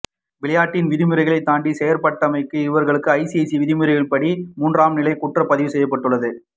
விளையாட்டின் விதிமுறைகளை தாண்டி செயற்பட்டமைக்காக இவர்களுக்கு ஐசிசி விதிமுறைப்படி மூன்றாம் நிலை குற்றம் பதிவுசெய்யப்பட்டுள்ளது